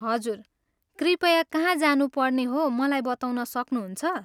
हजुर, कृपया कहाँ जानुपर्ने हो मलाई बताउन सक्नुहुन्छ?